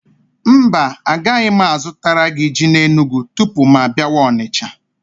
Mba, agaghị m azụtara gị ji n'Enugwu tupu mụ abịawa Onicha?